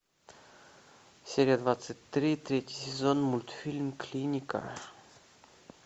серия двадцать три третий сезон мультфильм клиника